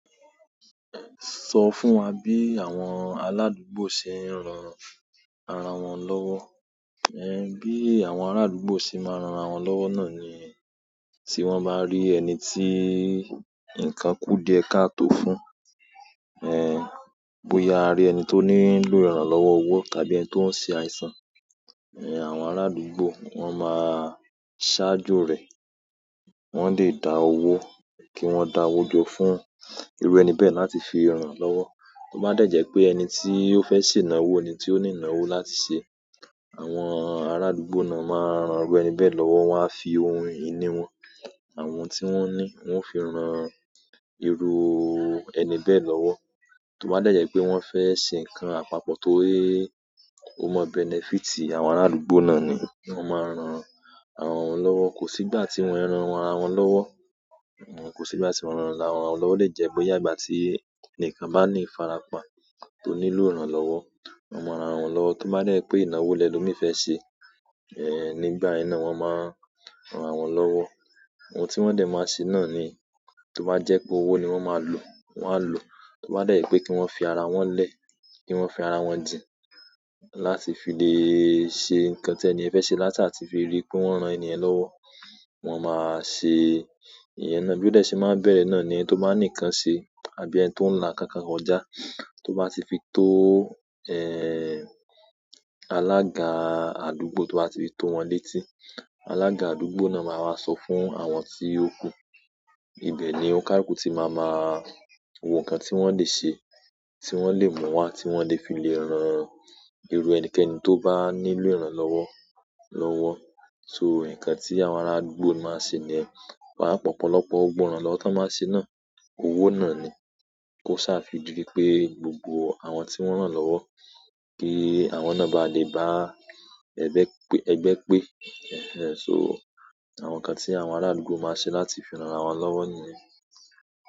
Sọ fún wa bí àwọn aládùúgbò ṣe ń ran ara wọn lọ́wọ́. Ẹ̀h, bí àwọn arádùúgbò ṣe máa ń ran ara wọn lọ́wọ́ náà ni tí wọ́n bá rí ẹni tí nǹkan kú díẹ̀ ká tó fún, ẹ̀h, bóyá a rí ẹni tó ní ń ní lóòrùn lọ́wọ́ owó tàbí ẹni tó ń ṣe àìsàn, ẹ̀h, àwọn arádùúgbò wọ́n máa ṣáájo rẹ̀. Wọ́n lè dá owó, kí wọ́n dá owó jọ fún irú ẹni bẹ́ẹ̀ láti fi ràn án lọ́wọ́. Ó bá dẹ́ jẹ́ pé ẹni tí ó fẹ́ ṣe ìnáwó, ẹni tí ó ní ìnáwó láti ṣe, àwọn arádùúgbò náà máa rán owó ẹni bẹ́ẹ̀ lọ́wọ́. Wọn a fi ohun ìní wọn, àwọn ohun tí wọ́n ní wọ́n ó fi ran irú ẹni bẹ́ẹ̀ lọ́wọ́. Tó bá dẹ́ jẹ́ pé wọ́n fẹ́ ṣe nǹkan àpapọ̀ torí ó ma bẹ́nẹfíítì àwọn arádùúgbò náà ni, kí wọ́n máa ran aràwọn lọ́wọ́. Kò sígbà tí wọn ń ran ara wọn lọ́wọ́, òun kò sígbà tí wọ́n ń ran ara wọn lọ́wọ́ lè jẹ́ bóyá ìgbà tí ẹni kan bá ní farapa tó ní ló iranlowò, wọ́n máa ran àra won lọ́wọ́. Tó bá dẹ́ pé ìnáwó lẹ́ lo mi fẹ́ ṣe, ẹ̀h, nígbà iná wọ́n máa ran rawọn lọ́wọ́. Ohun tí wọ́n dẹ̀ máa ṣe náà ni, tó bá jẹ́ pé owó ni wọ́n máa lò, wọ́n á lò. Tó bá dẹ́ pé kí wọ́n fi ara wọn lẹ̀, kí wọ́n fi ara wọn jìn láti fi lè ṣe nǹkan tí ẹni ẹ fẹ́ ṣe látà ti fi rí pé wọ́n ran ènìyàn lọ́wọ́, wọn máa ṣe ìyẹn náà. Bí ó dẹ̀ ṣe máa ń bẹ̀rẹ̀ náà ni tó bá ní nǹkan ṣe àbí ẹni tó ń la kankan kojà tó bá ti fi tó, ẹ́h, alága àdúgbò tó bá ti fi tó wọn létí, alága àdúgbò náà máa wá sọ fún àwọn tí ó kú. Ibẹ̀ ni onikaluku tí màá ma wo nǹkan tí wọ́n lè se, tí wọ́n lè mu wa tí wọ́n lè fi lè ran irú ẹnikẹ́ni tó bá ní lóòrùn lọ́wọ́ lọ́wọ́. So, nǹkan tí àwọn ará àdúgbò máa ń ṣe ni, pàápàá ọ̀pọ̀lọpọ̀ gbógbo ìrànlọ́wọ́ ti won baa ṣe náà, owó náà ni. Kó sá fi di pé gbogbo àwọn tí wọ́n rán lọ́wọ́, kí àwọn náà bá lè bá ẹgbẹ́ pé, ẹgbẹ́ pé. Ẹ̀h ẹ̀h, so àwọn nǹkan tí àwọn arádùúgbò máa ṣe láti fi ran ara wọn lọ́wọ́ niyen.